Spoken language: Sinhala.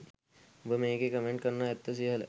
උඹ මේකෙ කමෙන්ටි කරන ඇත්ත සිහල